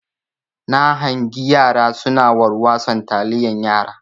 Na hangi yara suna warwason taliyan yara.